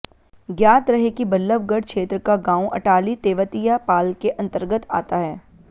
ज्ञात रहे कि बल्लभगढ़ क्षेत्र का गांव अटाली तेवतिया पाल के अन्तर्गत आता है